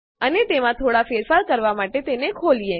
અને તેમાં થોડા ફેરફાર કરવા માટે તેને ખોલીએ